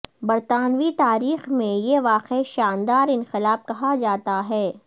برطانوی تاریخ میں یہ واقعہ شاندار انقلاب کہا جاتا ہے